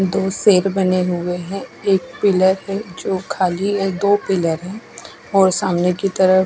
दो बने हुए है एक पिलर है जो दो पिलर है और सामने की तरफ--